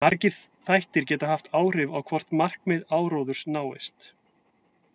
Margir þættir geta haft áhrif á hvort markmið áróðurs náist.